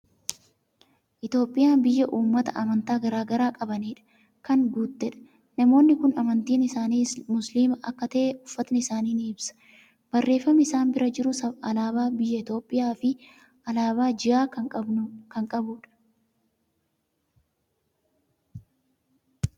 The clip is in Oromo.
Itoophiyaan biyya uummata amantaa garaa garaa qabaniidhaan kan guuttedha. Namoonni kun amantiin isaanii Musliima akka ta'e, uffatni isaanii ni ibsa. Barreeffamni isaan bira jiru, alaabaa biyya Itoophiyaa fi alaabaa ji'aa kan qabudha.